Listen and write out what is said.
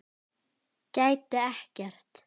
Gæti ekkert.